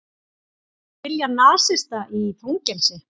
Vilja nasista í fangelsi